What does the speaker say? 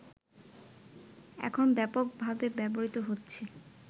এখন ব্যাপকভাবে ব্যবহৃত হচ্ছে